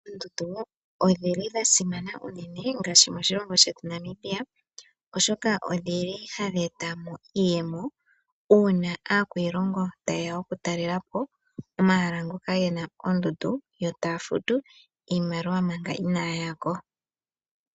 Oondundu odhili dha simana unene ngaashi moshilongo shetu Namibia oshoka odhili hadhi eta mo iiyemo uuna aakwiilongo ta yeya okutalelapo omahala ngoka gena oondundu yo taya futu iimaliwa manga inaaya yako.